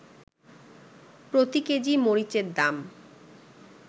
প্রতি কেজি মরিচের দাম